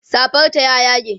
safar ta ya yage